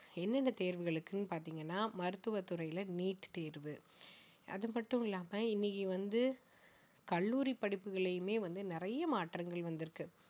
எந்தெந்த தேர்வுகளுக்குன்னு பாத்தீங்கன்னா மருத்துவ துறையில neet தேர்வு அது மட்டும் இல்லாம இன்னைக்கு வந்து கல்லூரி படிப்புகள்லயுமே வந்து நிறைய மாற்றங்கள் வந்திருக்கு